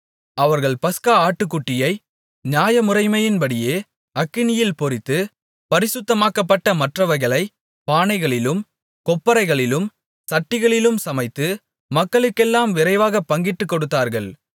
அவர்கள் பஸ்கா ஆட்டுக்குட்டியை நியாயமுறைமையின்படியே அக்கினியில் பொரித்து பரிசுத்தமாக்கப்பட்ட மற்றவைகளைப் பானைகளிலும் கொப்பரைகளிலும் சட்டிகளிலும் சமைத்து மக்களுக்கெல்லாம் விரைவாகப் பங்கிட்டுக் கொடுத்தார்கள்